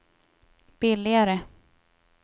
billigare